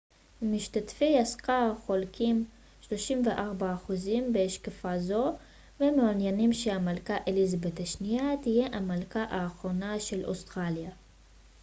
34% ממשתתפי הסקר חולקים בהשקפה זו ומעוניינים שהמלכה אליזבת השנייה תהיה המלכה האחרונה של אוסטרליה